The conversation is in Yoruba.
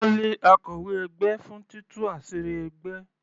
Wọ́n lé akọ̀wé ẹgbẹ́ fún títú àṣírí ẹgbẹ́.